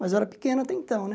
Mas eu era pequeno até então né.